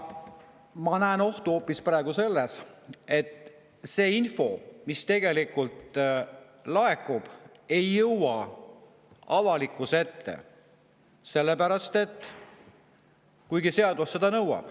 Ma näen ohtu hoopis selles, et see info, mis tegelikult laekub, ei jõua avalikkuse ette, kuigi seadus seda nõuab.